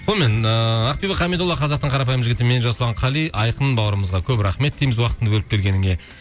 сонымен ыыы ақбибі хамидолла қазақтың қарапайым жігіті мен жасұлан қали айқын бауырымызға көп рахмет дейміз уақытыңды бөліп келгеніңе